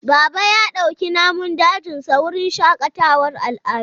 Baba ya dauki namun dajinsa wurin shakatawar al'adu.